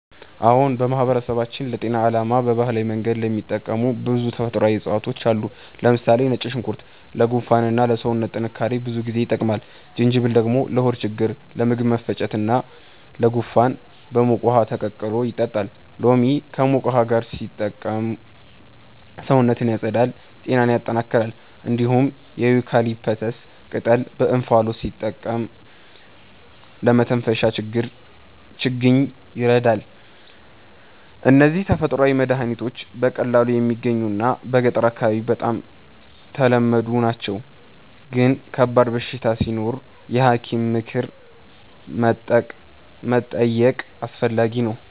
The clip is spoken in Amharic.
አዎን፣ በማህበረሰባችን ለጤና ዓላማ በባህላዊ መንገድ የሚጠቀሙ ብዙ ተፈጥሯዊ እፅዋት አሉ። ለምሳሌ ነጭ ሽንኩርት ለጉንፋን እና ለሰውነት ጥንካሬ ብዙ ጊዜ ይጠቀማል። ጅንጅብል ደግሞ ለሆድ ችግኝ፣ ለምግብ መፈጨት እና ለጉንፋን በሙቅ ውሃ ተቀላቅሎ ይጠጣል። ሎሚ ከሙቅ ውሃ ጋር ሲጠቀም ሰውነትን ያጸዳል እና ጤናን ያጠናክራል። እንዲሁም የዩካሊፕተስ ቅጠል በእንፋሎት ሲጠቀም ለመተንፈሻ ችግኝ ይረዳል። እነዚህ ተፈጥሯዊ መድሀኒቶች በቀላሉ የሚገኙ እና በገጠር አካባቢ በጣም ተለመዱ ናቸው፣ ግን ከባድ በሽታ ሲኖር የሐኪም ምክር መጠየቅ አስፈላጊ ነው።